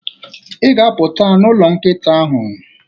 ị ga-apụt n'ụlọ nkịta ahụ.